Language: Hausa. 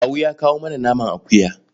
Kawu ya kawo mana naman akuya.